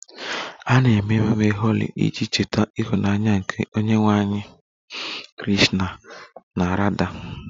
A na-eme ememe Holi iji cheta ịhụnanya nke onyenwe anyị Krishna na Radha